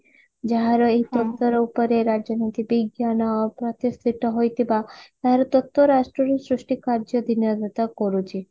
ଯାହାର ଏଇ ରାଜନୀତି ବିଜ୍ଞାନ ପ୍ରତିଷ୍ଠିତ ହୋଇଥିବା ତାହାର ତତ୍ଵ ରାଷ୍ଟ୍ରରୁ ସୃଷ୍ଟି କାର୍ଯ୍ୟ କରୁଛି